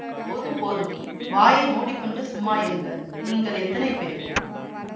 போதும் போதும் வாயை மூடி கொண்டு சும்மா இருங்கள் நீங்கள் எத்தனை பேர்